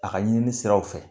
A ka ɲinini siraw fɛ